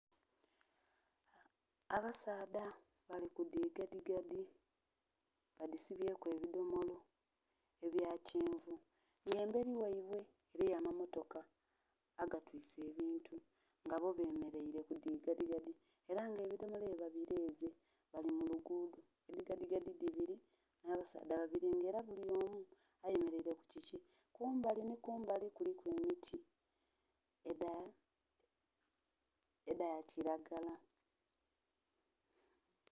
Abasaadha balikudigadigadi badisibyeku ebidomolo ebyakyenvu nga emberi ghabwe eriyo amamotooka agatise ebintu ngabo bemereire kudigadigadi era nga ebidomolo ebyo babireze balimulugudo edigadigadi dibiri nabasaadh babiri nga era buli omu ayemerere kukyikye kumbali ni kumbali kuliku emiti eda kyiragala